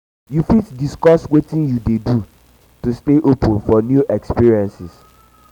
you fit discuss witin you dey do to stay open for new experiences?